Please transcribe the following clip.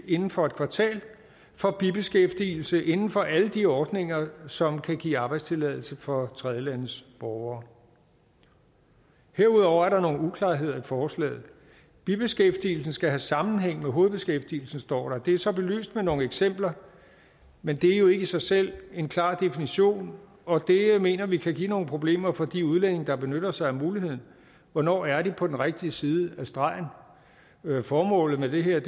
inden for et kvartal for bibeskæftigelse inden for alle de ordninger som kan give arbejdstilladelse for tredjelandes borgere herudover er der nogle uklarheder i forslaget bibeskæftigelsen skal have sammenhæng med hovedbeskæftigelsen står der det er så belyst med nogle eksempler men det er jo ikke i sig selv en klar definition og det mener vi kan give nogle problemer for de udlændinge der benytter sig af muligheden hvornår er de på den rigtige side af stregen formålet med det her